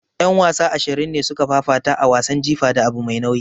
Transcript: Yan wasa ashirin ne suka fafata a wasan jifa da abu mai nauyi.